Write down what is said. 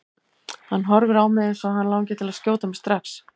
Hann horfir á mig eins og hann langi til að skjóta mig strax.